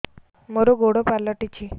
ମୋର ଗୋଡ଼ ପାଲଟିଛି